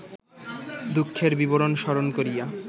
দুঃখের বিবরণ স্মরণ করিয়া